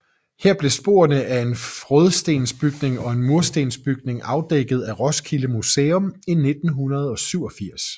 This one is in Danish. Her blev sporene af en frådstensbygning og en murstensbygning afdækket af Roskilde Museum i 1987